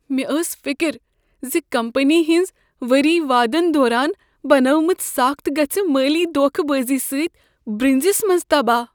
مےٚ ٲس فکر ز کمپنی ہٕنٛز وری وادن دوران بنٲومٕژٍ ساخت گژھہِ مٲلی دوكھہٕ بٲزی سۭتۍ برٛنزِس منٛز تباہ۔